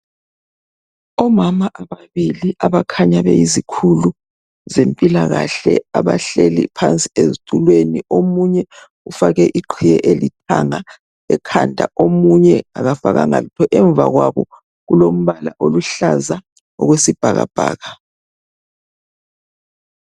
Omama ababili abakhanya beyizikhulu zempilakahle abahleli phansi ezitulweni omunye ufake iqhiye elithanga ekhanda omunye akafakanga lutho emva kwabo kulompala oluhlaza okwesibhakabhaka.